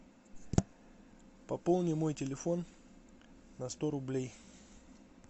пополни мой телефон на сто рублей